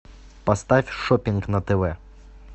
поставь шоппинг на тв